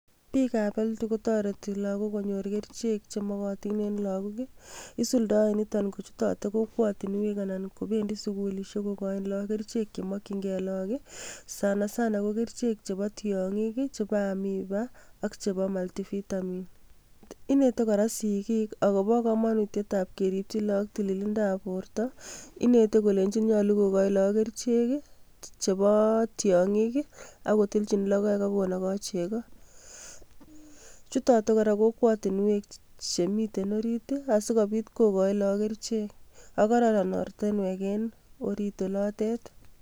Bikab health kotoreti lagok konyor kerichek chemokotin eng lagok isuldoe nitok kochutoten kokwotunwek anan ko bendi skullishek kokochin lagok kerichek che mokjingei lagok sanasana ko kerichek chebo tiongik, chebo amoeba ak chebo multi-vitamin. Inete kora sikik akobo kamonutietab keripchi lagok tililindab borto inetei kolenjin nyolu kokochin lagok kerichek chebo tiongik ak kotiljin logoek ak konogoi chego. Chutotin kora kokwotunwek chemiten orit asi kobit kokochi lagok kerichek ak kororon ortinwek eng orit olotet.